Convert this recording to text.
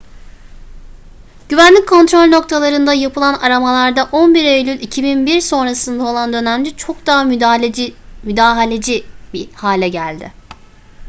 güvenlik kontrol noktalarında yapılan aramalar da 11 eylül 2001 sonrası olan dönemde çok daha müdahaleci bir hale geldi